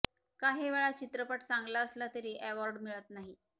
काही वेळा चित्रपट चांगला असला तरी अँवॉर्ड मिळत नाही